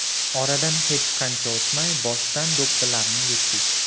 Oradan hech qancha o‘tmay boshdan do‘ppilarni yechdik.